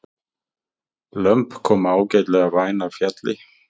Lömb koma ágætlega væn af fjalli